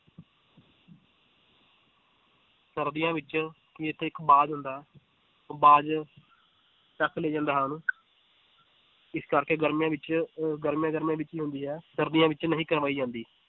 ਸਰਦੀਆਂ ਵਿੱਚ ਇੱਥੇ ਇੱਕ ਬਾਜ਼ ਹੁੰਦਾ ਹੈ ਉਹ ਬਾਜ਼ ਚੁੱਕ ਲੈ ਜਾਂਦਾ ਹੈ ਉਹਨੂੰ ਇਸ ਕਰਕੇ ਗਰਮੀਆਂ ਵਿੱਚ ਅਹ ਗਰਮੀਆਂ ਗਰਮੀਆਂ ਵਿੱਚ ਹੀ ਹੁੰਦੀ ਹੈ ਸਰਦੀਆਂ ਵਿੱਚ ਨਹੀਂ ਕਰਵਾਈ ਜਾਂਦੀ।